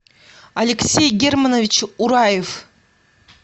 алексей германович ураев